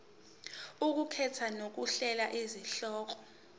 ukukhetha nokuhlola izihloko